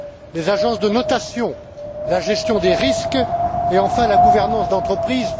les agences de notation, la gestion des risques et, enfin, la gouvernance d'entreprise.